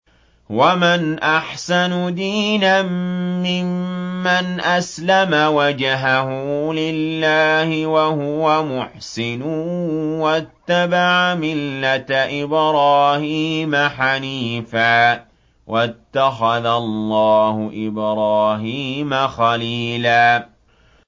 وَمَنْ أَحْسَنُ دِينًا مِّمَّنْ أَسْلَمَ وَجْهَهُ لِلَّهِ وَهُوَ مُحْسِنٌ وَاتَّبَعَ مِلَّةَ إِبْرَاهِيمَ حَنِيفًا ۗ وَاتَّخَذَ اللَّهُ إِبْرَاهِيمَ خَلِيلًا